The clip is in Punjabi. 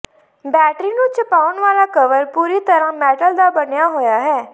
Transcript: ਬੈਟਰੀ ਨੂੰ ਛੁਪਾਉਣ ਵਾਲਾ ਕਵਰ ਪੂਰੀ ਤਰ੍ਹਾਂ ਮੈਟਲ ਦਾ ਬਣਿਆ ਹੋਇਆ ਹੈ